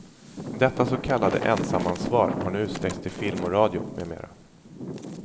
Detta så kallade ensamansvar har nu utsträckts till film och radio, med mera.